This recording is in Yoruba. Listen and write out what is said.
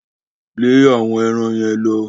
Lẹ́ àwọn eran yẹn lọ!